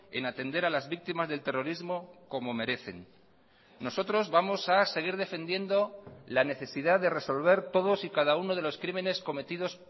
en atender a las víctimas del terrorismo como merecen nosotros vamos a seguir defendiendo la necesidad de resolver todos y cada uno de los crímenes cometidos